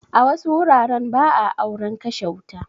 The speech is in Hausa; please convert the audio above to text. A wasu wuraren ba a auren kashe wuta.